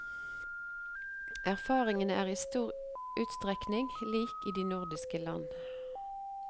Erfaringene er i stor utstrekning lik i de nordiske land.